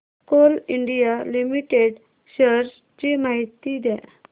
Coal India Limited shares ची माहिती द्या